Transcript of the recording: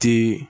Ti